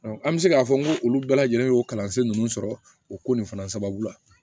an bɛ se k'a fɔ ko olu bɛɛ lajɛlen y'o kalansen ninnu sɔrɔ o ko nin fana sababu la